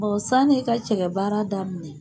Bon sani i ka cɛkɛbaara daminɛ.